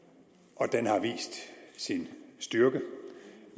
og den har vist sin styrke